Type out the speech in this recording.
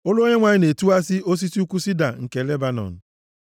Olu Onyenwe anyị na-etiwa osisi ukwu sida; Onyenwe anyị na-etiwasị osisi ukwu sida nke Lebanọn.